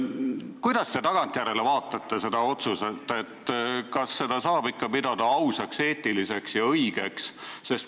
Kuidas te seda otsust tagantjärele vaatate – kas seda saab ikka pidada ausaks, eetiliseks ja õigeks?